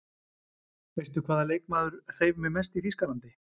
Veistu hvaða leikmaður hreif mig mest í Þýskalandi?